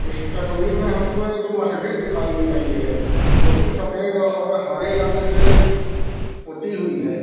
इस तस्वीर में हमको एक मस्ज़िद दिखाई दे रही है जो की सफ़ेद और हरे रंग से पोती हुई है।